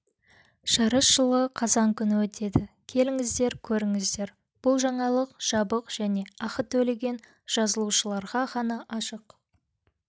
жарыс жылғы қазан күні өтеді келіңіздер көріңіздер бұл жаңалық жабық және ақы төлеген жазылушыларға ғана ашық